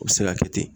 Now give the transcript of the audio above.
U bɛ se ka kɛ ten